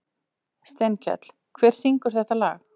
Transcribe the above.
Steinkell, hver syngur þetta lag?